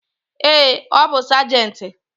Ee, ọ bu sajenti